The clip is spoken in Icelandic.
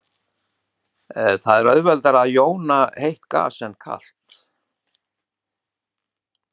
Það er auðveldara að jóna heitt gas en kalt.